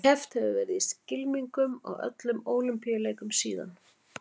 Keppt hefur verið í skylmingum á öllum Ólympíuleikum síðan.